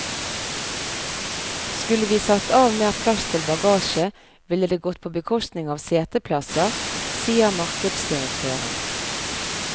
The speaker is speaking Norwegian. Skulle vi satt av mer plass til bagasje, ville det gått på bekostning av seteplasser, sier markedsdirektøren.